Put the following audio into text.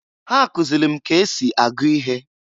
Ha kụzịlị m ka esi agụ ihe.